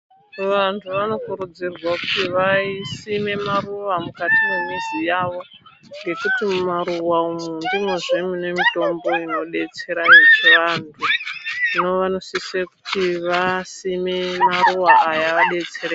Vantu vanokurudzirwa kuti vasime maruva mukati me mizi mavo ngekuti mu maruva umu ndimwo zve mune mitombo inodetsera vantu hino vano sise kuti vasime maruva aya va detsereke.